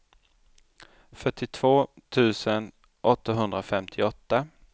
fyrtiotvå tusen åttahundrafemtioåtta